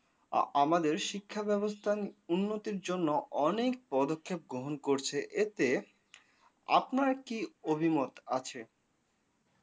আ আমাদের শিক্ষাব্যবস্থান উন্নতির জন্য অনেক পদক্ষেপ গ্রহণ করছে এতে আপনার কি অভিমত আছে?